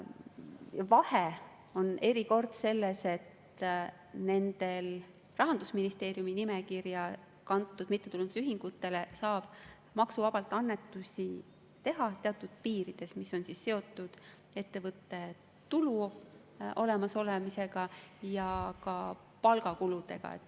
Vahe on selles, et nendele Rahandusministeeriumi nimekirja kantud mittetulundusühingutele saab maksuvabalt annetusi teha teatud piirides, mis on seotud ettevõtte tulu olemasoluga ja ka palgakuludega.